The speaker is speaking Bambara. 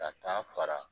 Ka taa fara